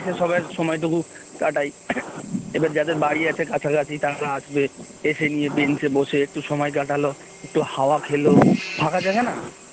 সবাই সময়টুকু কাটায় এদের যাদের বাড়ি আছে কাছাকাছি তারা আসবে এসে নিয়ে বেঞ্চে বসে একটু সময় কাটাল একটু হাওয়া খেল ফাঁকা জায়গা না